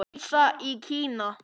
Dísa í Kína.